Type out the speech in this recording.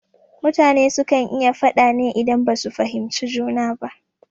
Mutane su kan yi faɗa ne idan ba su fahimci juna ba